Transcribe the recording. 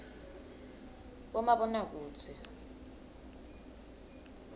bomabonakudze